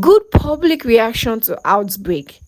good public reaction to outbreak